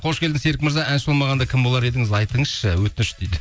қош келдің серік мырза әнші болмағанда кім болар едіңіз айтыңызшы өтініш дейді